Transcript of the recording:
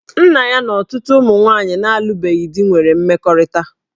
Nna ya na ọtụtụ ụmụ nwaanyị na-alụbeghị di nwere mmekọrịta